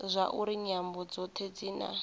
zwauri nyambo dzothe dzi na